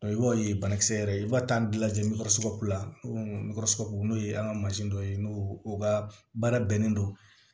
i b'a ye banakisɛ yɛrɛ i b'a taa an da lajɛ ngɛrɛ sɔrɔci la n'o ye an ka mansin dɔ ye n'o o ka baara bɛnnen don